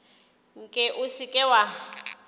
nke o se ke wa